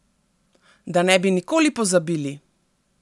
Da ne bi nikoli pozabili!